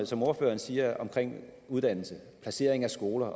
som ordføreren siger om uddannelse placering af skoler